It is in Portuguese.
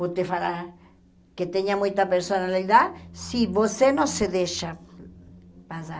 Vou te falar que tenha muita personalidade se você não se deixa passar.